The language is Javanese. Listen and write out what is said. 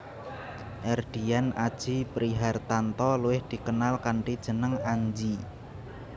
Erdian Aji Prihartanto luwih dikenal kanthi jeneng Anji